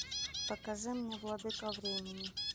покажи мне владыка времени